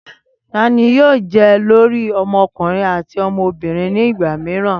Tani yoo jẹ olori ọmọkunrin ati ọmọbirin ni igba miiran?